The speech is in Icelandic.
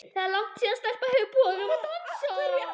Það er langt síðan stelpa hefur boðið honum að dansa.